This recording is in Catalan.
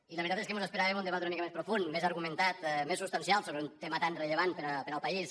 i la veritat és que mos esperàvem un debat una mica més profund més argumentat més substancial sobre un tema tan rellevant per al país